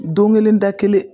Don kelen da kelen